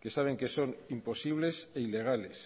que saben que son imposibles e ilegales